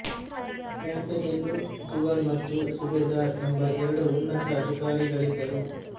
ಪ್ರಾಂತ್ಯದಲ್ಲೂ ದಿವಾನ್ ಮತ್ತು ಸುಬೇದಾರ್ ಎಂಬ ಎರಡು ಉನ್ನತ ಅಧಿಕಾರಿಗಳಿದ್ದರು